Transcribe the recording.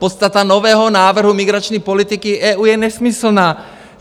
Podstata nového návrhu migrační politiky EU je nesmyslná!